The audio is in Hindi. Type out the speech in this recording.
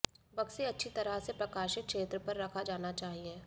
बक्से अच्छी तरह से प्रकाशित क्षेत्र पर रखा जाना चाहिए